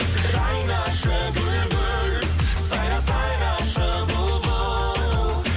жайнашы гүл гүл сайра сайрашы бұлбұл